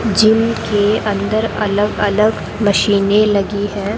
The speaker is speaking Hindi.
जिम के अंदर अलग अलग मशीने लगी हैं।